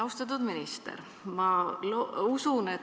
Austatud minister!